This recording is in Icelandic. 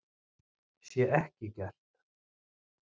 Sé ekki gert